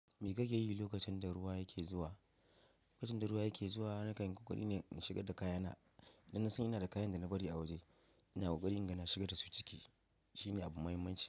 Me kake yi lokacin da ruwa yake zuwa? Lokacin da ruwa yake zuwa, na kan yi kokari ne in shigar da kayana. Dan na san ina da kayan da na bari a waje. Ina kokari ina shigar dasu ciki shine abu muhimmanci.